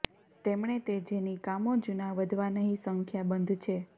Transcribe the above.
તેમણે તે જેની કામો જૂના વધવા નહીં સંખ્યાબંધ છે